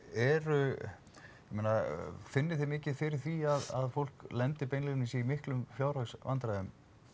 eru ég meina finnið þið mikið fyrir því að fólk lendi beinlínis í miklum fjárhagsvandræðum